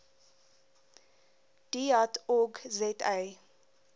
deat org za